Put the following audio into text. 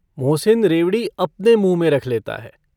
मोहसिन रेवड़ी अपने मुंँह में रख लेता है।